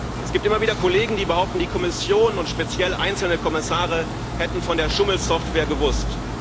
Es gibt immer wieder Kollegen, die behaupten, die Kommission und speziell einzelne Kommissare hätten von der Schummel Software gewusst.